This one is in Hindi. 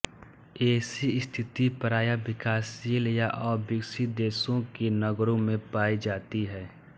ऐसी स्थिति प्राय विकाशशील या अविकसित देशों के नगरों में पायी जाती है